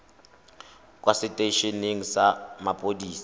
kwa setei eneng sa mapodisi